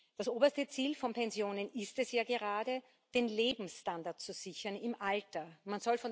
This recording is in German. Das oberste Ziel von Pensionen ist es ja gerade, den Lebensstandard im Alter zu sichern.